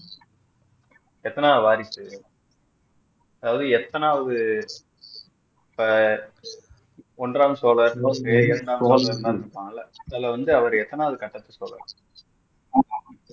எத்தனாவது வாரிசு அதாவது எத்தனாவது இப்போ ஒன்றாம் சோழர் இரண்டாம் சோழர் எல்லாம் இருப்பாங்கல்ல அதுல வந்து அவரு எத்தனாவது கட்டத்து சோழர்